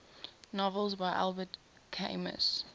novels by albert camus